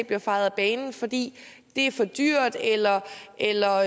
bliver fejet af banen fordi det er for dyrt eller eller